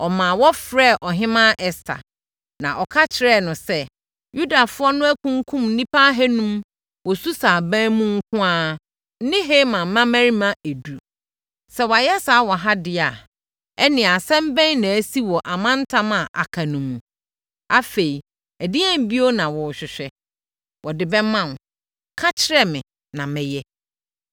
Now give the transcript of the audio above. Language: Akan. ɔmaa wɔfrɛɛ Ɔhemmaa Ɛster, na ɔka kyerɛɛ no sɛ, “Yudafoɔ no akunkum nnipa ahanum wɔ Susa aban mu nko ara ne Haman mmammarima edu. Sɛ wɔayɛ saa wɔ ha deɛ a, ɛnneɛ asɛm bɛn na asi wɔ amantam a aka no mu? Afei, ɛdeɛn bio na wohwehwɛ? Wɔde bɛma wo. Ka kyerɛ me na mɛyɛ.”